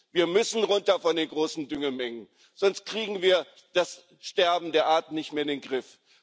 Wir müssen runter von den großen Düngemengen, sonst kriegen wir das Sterben der Arten nicht mehr in den Griff.